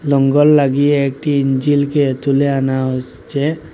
নোঙর লাগিয়ে একটি ইঞ্জিলকে তুলে আনা হসচ্ছে।